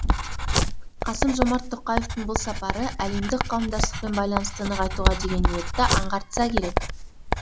қасым жомарт тоқаевтың бұл сапары әлемдік қауымдастықпен байланысты нығайтуға деген ниетті аңғартса керек